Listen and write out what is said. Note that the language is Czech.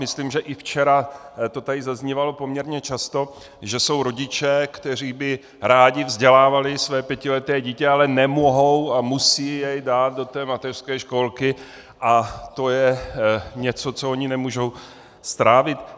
Myslím, že i včera to tady zaznívalo poměrně často, že jsou rodiče, kteří by rádi vzdělávali své pětileté dítě, ale nemohou a musí jej dát do té mateřské školky, a to je něco, co oni nemůžou strávit.